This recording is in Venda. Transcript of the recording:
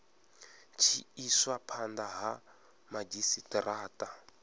tshi iswa phanda ha madzhisitarata